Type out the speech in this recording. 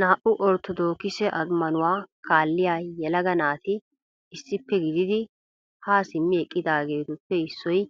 Naa"u orttodokisse ammanuwaa kaalliya yelaga naati issippe gididi ha simmi eqqidaageetuppe issoy